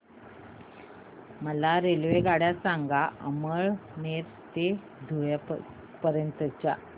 मला रेल्वेगाड्या सांगा अमळनेर ते धुळे पर्यंतच्या